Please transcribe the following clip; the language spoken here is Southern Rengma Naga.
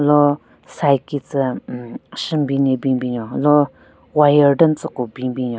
Lo side ki tsü hmm shunbin ne bin bin nyon lo wire den tsü ku bin bin nyon.